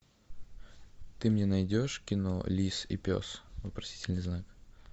ты мне найдешь кино лис и пес вопросительный знак